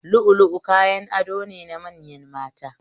Lu'u lu'u kayan ado ne na manyan mata